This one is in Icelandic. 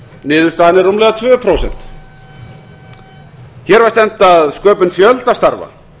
niðurstaðan er rúmlega tvö prósent hér var stefnt að sköpun fjölda starfa